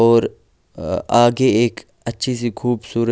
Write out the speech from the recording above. और आगे एक अच्छी सी खूबसूरत--